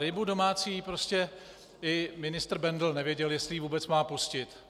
Rybu domácí - prostě i ministr Bendl nevěděl, jestli ji vůbec má pustit.